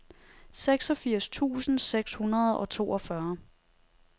seksogfirs tusind seks hundrede og toogfyrre